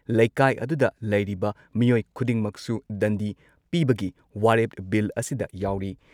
ꯂꯩꯀꯥꯏ ꯑꯗꯨꯗ ꯂꯩꯔꯤꯕ ꯃꯤꯑꯣꯏ ꯈꯨꯗꯤꯡꯃꯛꯁꯨ ꯗꯟꯗꯤ ꯄꯤꯕꯒꯤ ꯋꯥꯔꯦꯞ ꯕꯤꯜ ꯑꯁꯤꯗ ꯌꯥꯎꯔꯤ ꯫